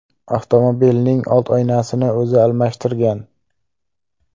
Avtomobilning old oynasini o‘zi almashtirgan.